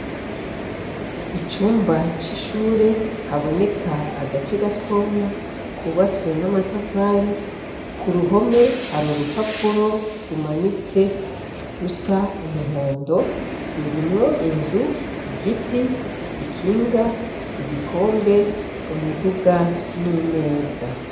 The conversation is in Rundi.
Icumba c'ishure haboneka agace gatoya kubatswe n'amatavari ku ruhome hari urupapuro rumanitse rusa umuhondo rurimwo inzu igiti ikinga igikombe umuduga n imeza.